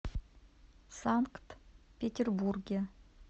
санкт петербурге